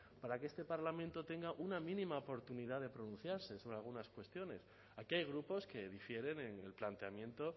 para que este parlamento tenga una mínima oportunidad de pronunciarse sobre algunas cuestiones aquí hay grupos que difieren en el planteamiento